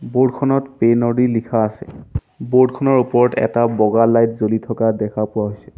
Board খনত পেইন ৰদি লিখা আছে বোৰ্ড খনৰ ওপৰত এটা বগা লাইট জ্বলি থকা দেখা পোৱা হৈছে।